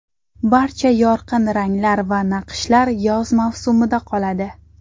Barcha yorqin ranglar va naqshlar yoz mavsumida qoladi.